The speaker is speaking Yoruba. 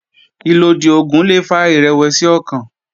Ìlòdì oògùn le fa ìrẹ̀wẹ̀sì ọkàn